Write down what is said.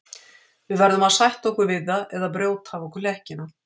Við verðum að sætta okkur við það eða brjóta af okkur hlekkina.